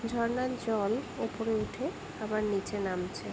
ঝর্ণার জল উপরে উঠে নিচে নামছে।